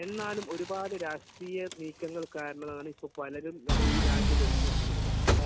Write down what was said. എന്നാലും ഒരുപാട് രാഷ്ട്രീയ നീക്കങ്ങൾ കാരണമാണ് പലരും ഈ രാജ്യം ഭരിച്ചുകൊണ്ടിരിക്കുന്നത്